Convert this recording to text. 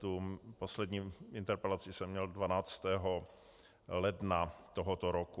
Tu poslední interpelaci jsem měl 12. ledna tohoto roku.